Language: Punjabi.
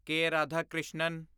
ਕੇ. ਰਾਧਾਕ੍ਰਿਸ਼ਨਨ